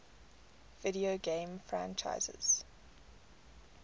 video game franchises